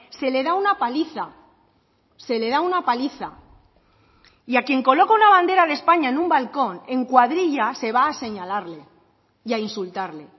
se le da una paliza se le da una paliza y a quien coloca una bandera de españa en un balcón en cuadrilla se va a señalarle y a insultarle